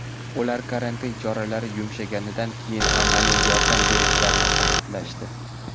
Ular karantin choralari yumshaganidan keyin amaliy yordam berishlarini ta’kidlashdi.